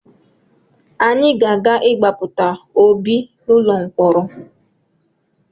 Anyị ga-aga ịgbapụta Obi n’ụlọ mkọrọ